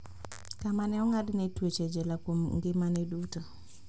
Kama ne ong'adne twech e jela kuom ngimane duto.